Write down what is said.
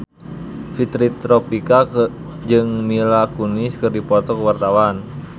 Fitri Tropika jeung Mila Kunis keur dipoto ku wartawan